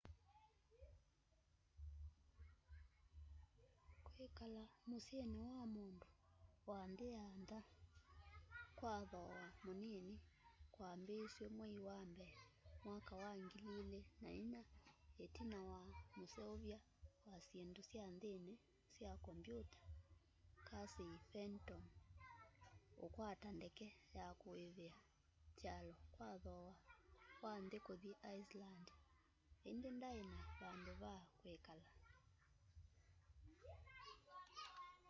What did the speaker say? kwikala musyini wa mundu wa nthi ya ntha kwa thooa munini kwambiisw'e mwei wa mbee mwaka wa 2004 itina wa museuny'a wa syindu sya nthini sya kombyuta casey fenton ukwata ndeke ya kuivia kyalo kwa thooa wa nthi kuthi iceland indi ndai na vandu va kwikala